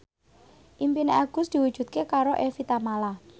impine Agus diwujudke karo Evie Tamala